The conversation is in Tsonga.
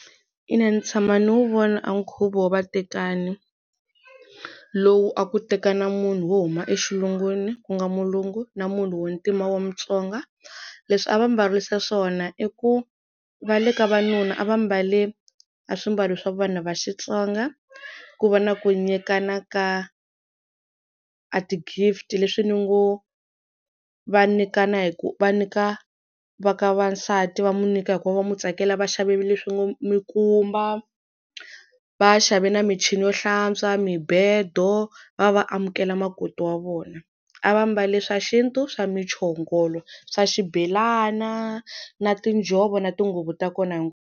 Ina ni tshama ni wu vona a nkhuvo wo vatekani lowu a ku tekana munhu wo huma exilungwini ku nga mulungu na munhu wo ntima wa Mutsonga leswi a va mbarisa swona i ku va le ka vanuna a va mbale a swimbalo swa vana va Xitsonga ku va na ku nyikana ka a ti-gift leswi ni ngo va nyikana hi ku va nyika va ka va nsati va mu nyika hikuva va mu tsakela va xavi leswi ngo mi kumba va xavi na michini yo hlantswa, mibedo va va amukela makoti wa vona a va mbale swa xintu swa muchongolo swa xibelana na tinjhovo na tinguvu ta kona .